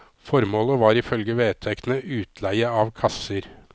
Formålet var ifølge vedtektene utleie av kasser.